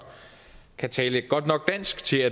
kan tale et godt nok dansk til